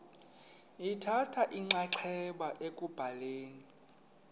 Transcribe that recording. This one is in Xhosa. lithatha inxaxheba ekubhaleni